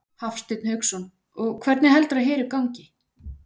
Hafsteinn Hauksson: Og hvernig heldurðu að Heru gangi?